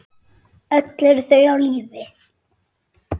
Öll eru þau á lífi.